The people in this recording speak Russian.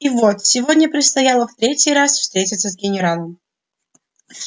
и вот сегодня предстояло в третий раз встретиться с генералом